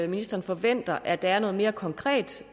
ministeren forventer at der er noget mere konkret